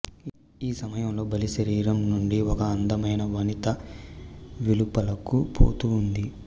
ఈ సమయంలో బలిశరీరం నుండి ఒక అందమైన వనిత వెలుపలకు పోతూ ఉంది